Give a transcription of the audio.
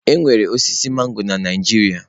Enwere osisi mangọrọ na Naijiria.